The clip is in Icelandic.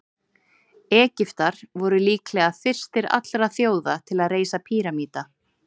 Egyptar voru líklega fyrstir allra þjóða til að reisa píramída.